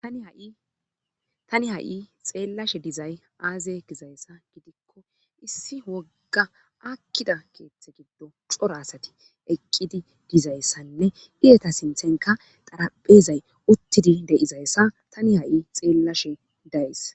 tani ha7i xeellashe dizay aaze gizayssa gidikko issi wogga akkida keeththe giddo cora asati eqqidi dizayssanne iyeta sinthenka xaraphezay uttidi de7izayssa tani ha7i xeellashe dayis